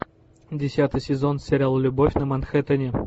десятый сезон сериал любовь на манхэттене